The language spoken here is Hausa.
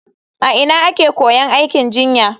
A ina ake koyon aikin jinya?